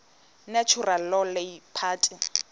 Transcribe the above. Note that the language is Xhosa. natural law party